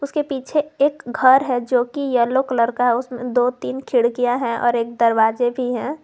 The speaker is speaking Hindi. के पीछे एक घर है जो कि येलो कलर का है उसमें दो तीन खिड़कियां हैं और एक दरवाजे भी हैं।